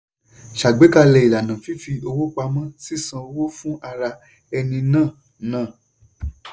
"ṣàgbékalẹ̀ ìlànà fífi owó pamọ́ - sísan owó fún ara-ẹni ná." ná."